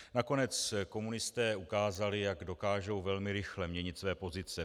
Nakonec komunisté ukázali, jak dokážou velmi rychle měnit své pozice.